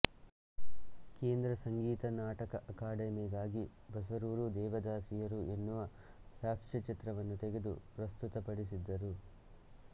ಕೇಂದ್ರ ಸಂಗೀತ ನಾಟಕ ಅಕಾಡೆಮಿಗಾಗಿ ಬಸರೂರು ದೇವದಾಸಿಯರು ಯೆನ್ನುವ ಸಾಕ್ಷ್ಯಚಿತ್ರವನ್ನು ತೆಗೆದು ಪ್ರಸ್ತುತ ಪಡಿಸಿದ್ದರು